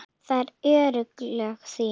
Það eru örlög þín.